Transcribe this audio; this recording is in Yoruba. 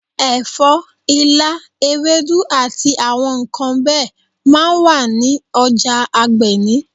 Ẹ̀fọ́, ilá, ewédú àti àwọn nǹkan bẹ́ẹ̀ máa ń wà ní ọjà Agbeni.